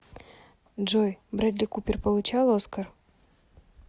джой брэдли купер получал оскар